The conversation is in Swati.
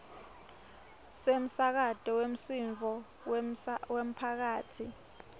semsakato wemsindvo wemphakatsi